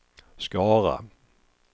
Skara